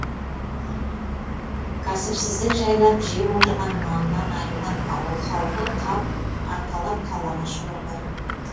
кәсіпсіздік жайлап жеп отырған нанынан айырылған ауыл халқы қап арқалап қалаға шұбырды